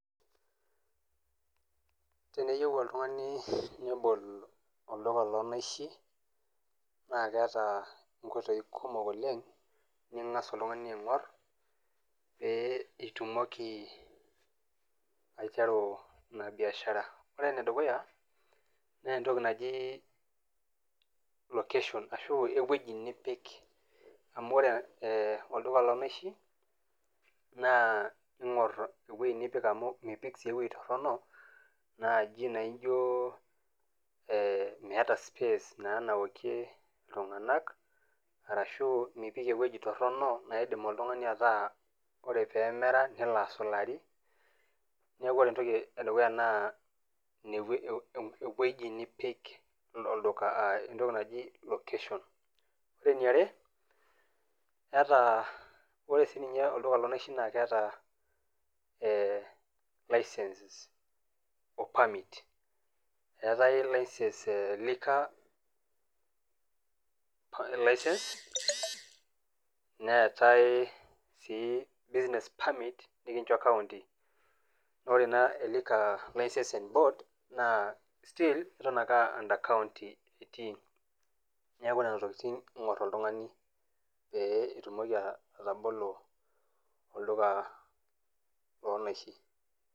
Teneyou oltung'ani nebol olduka loonaishi, naa keata inkoitoi kumok oleng' ning'as oltung'ani aing'or pee etumoki aiteru ina baiashara. Ore ene dukuya naa entoki naji location, ashu ewueji nipik, amu ore olduka loonaishi, naa ingor ewueji nipik amu mipik sii ewueji torono, naaji naijo meata space naaji naokie iltung'anak ashu mipik ewueji torono naidim oltung'ani nelo neemera nelo asulari, neaku ore ewueji nipik naa entoki naji location. Ore ene are, ore sii ninye olduka loo naishi naa keata license o permit. Eatai license e liquer license, neatai sii business permit, nincho kaunti. Ore naa e [c] liquer licensing board naa still eton ake aa under county etii. Neaku nena tokitin iing'or oltung'ani pee itumoki atabolo olduka loo naishi.